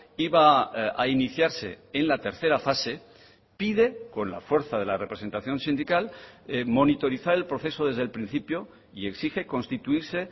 iba a iniciarse en la tercera fase pide con la fuerza de la representación sindical monitorizar el proceso desde el principio y exige constituirse